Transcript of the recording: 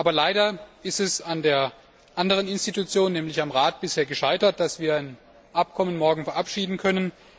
Aber leider ist es an der anderen Institution also am Rat bisher gescheitert, dass wir das Abkommen morgen verabschieden können.